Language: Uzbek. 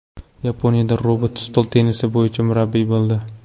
Yaponiyada robot stol tennisi bo‘yicha murabbiy bo‘ldi.